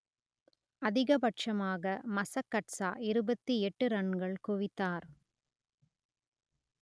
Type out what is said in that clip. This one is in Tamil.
அதிகப்பட்சமாக மசகட்ஸா இருபத்தி எட்டு ரன்கள் குவித்தார்